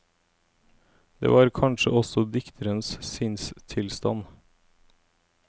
Det var kanskje også dikterens sinnstilstand.